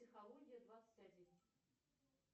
психология двадцать один